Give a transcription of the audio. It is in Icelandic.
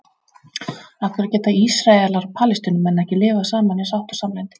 Af hverju geta Ísraelar og Palestínumenn ekki lifað saman í sátt og samlyndi?